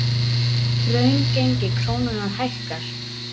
Raungengi krónunnar hækkar